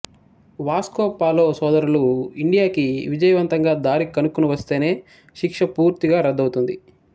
Vasco Polo సోదరులు ఇండియాకి విజయవంతంగా దారి కనుక్కుని వస్తేనే శిక్ష పూర్తిగా రద్దవుతుంది